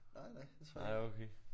Nej nej det tror jeg ikke